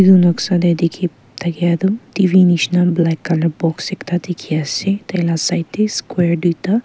etu noksa teh dikhi thakia tu telivision nisna black colour box ekta dikhi ase tai lah side teh square duita.